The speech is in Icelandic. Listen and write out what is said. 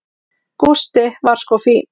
Gústi var sko fínn.